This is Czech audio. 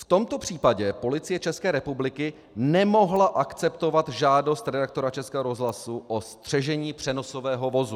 V tomto případě Policie České republiky nemohla akceptovat žádost redaktora Českého rozhlasu o střežení přenosového vozu.